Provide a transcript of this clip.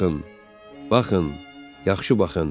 Baxın, baxın, yaxşı baxın.